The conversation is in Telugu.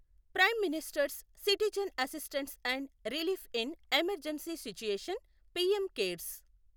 prime minister's citizen assistance and relief in emergency situation PM cares